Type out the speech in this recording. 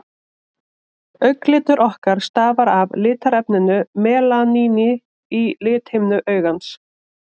augnlitur okkar stafar af litarefninu melaníni í lithimnu augans